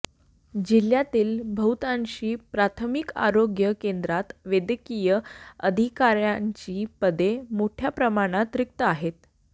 जिल्ह्यातील बहुतांशी प्राथमिक आरोग्य केंद्रात वैद्यकीय अधिकार्यांची पदे मोठ्या प्रमाणात रिक्त आहेत